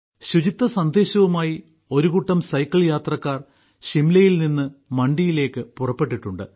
ശുചിത്വസന്ദേശവുമായി ഒരുകൂട്ടം സൈക്കിൾ യാത്രക്കാർ ഷിംലയിൽ നിന്ന് മണ്ഡിയിലേക്ക് പുറപ്പെട്ടിട്ടുണ്ട്